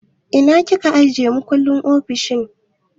Ina kika ajiye makullin ofishin?